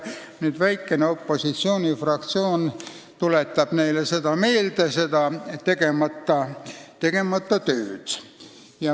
Nüüd tuletab väikene opositsioonifraktsioon neile seda tegemata tööd meelde.